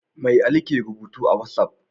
Me Ali ke rubutu a wat'af?